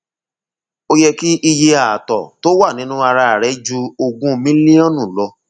ó yẹ kí iye ààtọ tó wà nínú ara rẹ ju ogún mílíọnù lọ